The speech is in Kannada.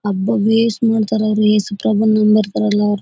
ಅಬ್ಬಾ ವೆಸ್ಟ್ ಮಾಡ್ತಾರೆ ಅವರು ಹತ್ರ ಬಂದು ನಮಕ್ ಬರೋಲ್ಲ.